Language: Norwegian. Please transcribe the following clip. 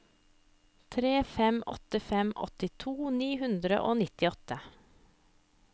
tre fem åtte fem åttito ni hundre og nittiåtte